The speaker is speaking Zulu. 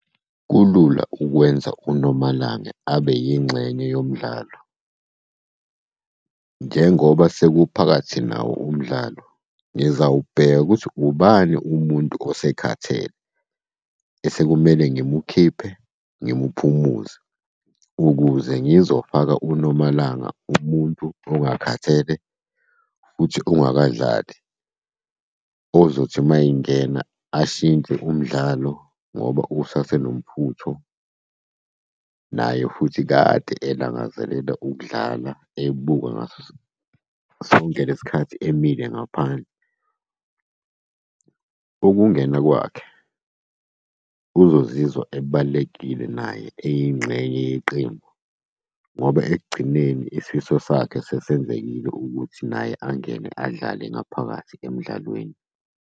Kulula ukwenza uNomalanga abe yingxenye yomdlalo. Njengoba sekuphakathi nawo umdlalo, ngizawubheka ukuthi ubani umuntu osekhathele, osekumele ngimukhiphe ngimuphumuze, ukuze ngizofaka uNomalanga umuntu ongakhathele, futhi ongakadlali. Ozothi uma engena ashintshe umdlalo ngoba usasenomfutho, naye futhi kade elangazelela ukudlala ebuka ngaso sonke le sikhathi emile gaphandle. Ukungena kwakhe uzozizwa ebalulekile naye eyingxenye yeqembu ngoba ekugcineni isifiso sakhe sesenzekile ukuthi naye angene adlale ngaphakathi emdlalweni.